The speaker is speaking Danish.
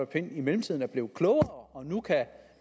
pind i mellemtiden er blevet klogere og nu kan